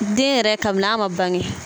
Den yɛrɛ kabi n'a man bange.